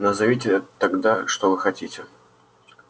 назовите тогда что вы хотите